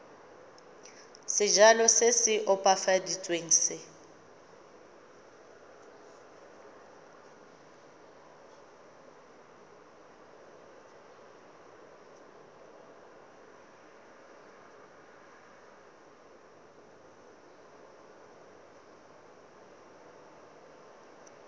sejalo se se opafaditsweng se